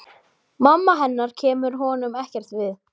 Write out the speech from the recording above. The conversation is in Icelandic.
Mamma hennar kemur honum ekkert við.